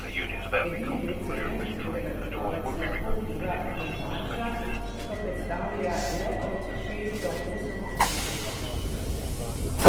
Edini del cene, na katerega trgovec lahko vpliva, je marža, ki pa predstavlja le od šest do osem odstotkov končne cene.